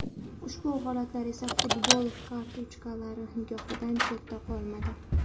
Ushbu holatlar esa futbol karikaturachilari nigohidan chetda qolmadi.